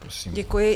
Děkuji.